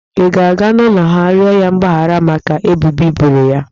I ga-aga n'ụlọ ha, rịọ ya mgbahara maka ebubo i boro ya.